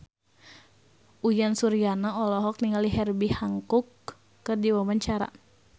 Uyan Suryana olohok ningali Herbie Hancock keur diwawancara